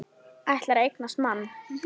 Ætlar að eignast mann.